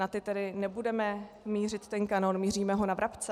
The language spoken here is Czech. Na ty tedy nebudeme mířit ten kanón, míříme ho na vrabce?